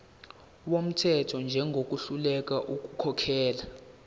wumthetho njengohluleka ukukhokhela